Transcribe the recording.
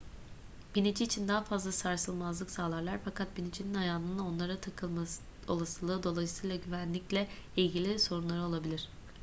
binici için daha fazla sarsılmazlık sağlarlar fakat binicinin ayağının onlara takılma olasılığı dolayısıyla güvenlikle ilgili sorunları olabilir